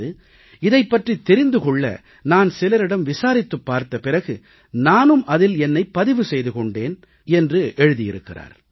இதைப் பற்றித் தெரிந்து கொள்ள நான் சிலரிடம் விசாரித்துப் பார்த்த பிறகு நானும் அதில் என்னைப் பதிவு செய்து கொண்டேன்